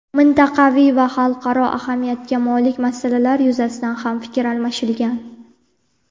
Mintaqaviy va xalqaro ahamiyatga molik masalalar yuzasidan ham fikr almashilgan.